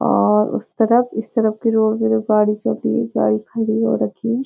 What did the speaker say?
और उस तरफ इस तरफ की पे जो गाड़ी चल रही है गाड़ी खड़ी हो रखी है।